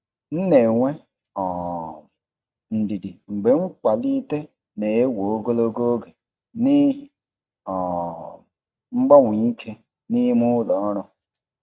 M na-enwe um ndidi mgbe nkwalite na-ewe ogologo oge n'ihi um mgbanwe ike n'ime ụlọ ọrụ.